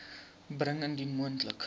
bring indien moontlik